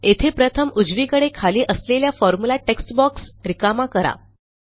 येथे प्रथम उजवीकडे खाली असलेल्या फॉर्म्युला टेक्स्ट बॉक्स रिकामा करा